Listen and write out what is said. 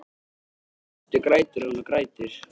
Í fyrstu grætur hún og grætur.